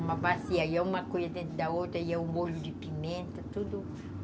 Uma bacia, ia uma cuia dentro da outra, ia o molho de pimenta, tudo.